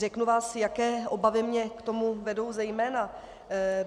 Řeknu vám, jaké obavy mne k tomu vedou zejména.